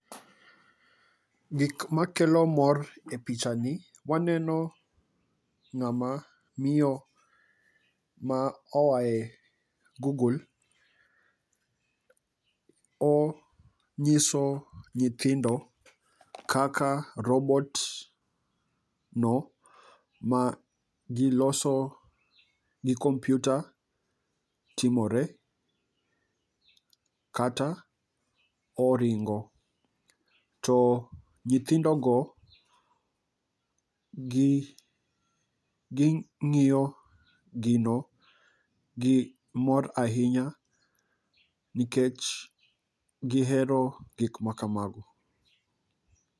Gik ma kelo mor e picha ni waneno ng'ama miyo ma oae Google, onyiso nyithindo kaka robot no ma gioso gi kompyuta timore. Kata oringo, to nyithindo go gi ging'iyo gino gi mor ahinya nikech gihero gik ma kamago.